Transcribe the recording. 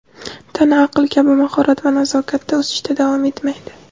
tana aql kabi mahorat va nazokatda o‘sishda davom etmaydi.